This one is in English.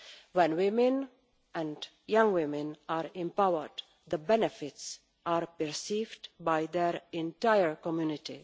When women, including young women, are empowered the benefits are perceived by their entire community.